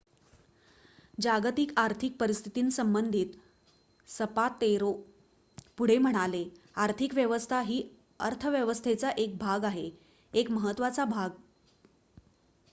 "जागतिक आर्थिक परिस्थितीसंबंधित सपातेरो पुढे म्हणाले की "आर्थिक व्यवस्था ही अर्थव्यवस्थेचा एक भाग आहे एक महत्त्वाचा भाग.""